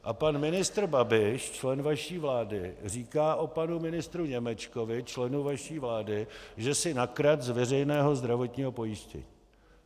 A pan ministr Babiš, člen vaší vlády, říká o panu ministru Němečkovi, členu vaší vlády, že si nakradl z veřejného zdravotního pojištění.